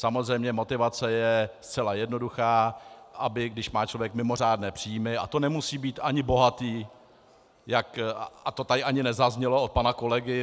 Samozřejmě motivace je zcela jednoduchá - aby když má člověk mimořádné příjmy, a to nemusí být ani bohatý, a to tady ani nezaznělo od pana kolegy.